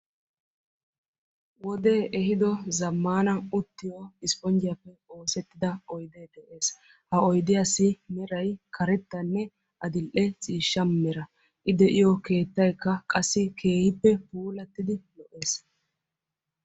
wodee ehiido zamaana uttiyo isponjjiyaappe oossettida oydee de'ees. ha oydiyasssi meray karettanne adil'e mala. ha oydiyaasi meray iita lo'ees.